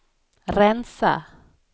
rensa